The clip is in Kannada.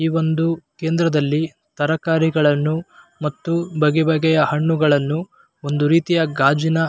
ಈ ವೊಂದು ಕೇಂದ್ರದಲ್ಲಿ ತರಕಾರಿಗಳನ್ನು ಮತ್ತು ಬಗೆ ಬಗೆಯ ಹಣ್ಣುಗಳನ್ನು ಒಂದು ರೀತಿಯ ಗಾಜಿನ --